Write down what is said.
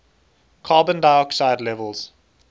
carbon dioxide levels